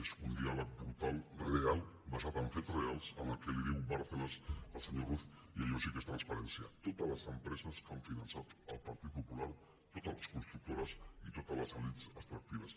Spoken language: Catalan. és un diàleg brutal real basat en fets reals amb el que li diu bárcenas al senyor ruz i allò sí que és transparència totes les empreses que han finançat el partit popular totes les constructores i totes les elits extractives